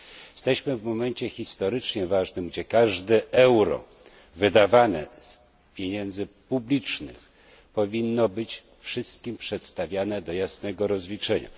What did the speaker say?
Jesteśmy w momencie historycznie ważnym, gdzie każde euro wydawane z pieniędzy publicznych powinno być wszystkim przedstawiane do jasnego rozliczenia.